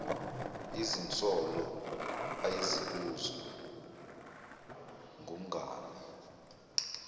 izinsolo ayezibuzwa ngumngani